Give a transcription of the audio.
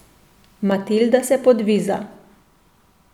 Matilda se podviza.